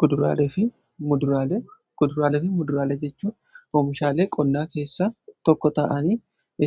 Kuduraalefi Muduraalee jechuun oomishaalee qonnaa keessaa tokko ta'anii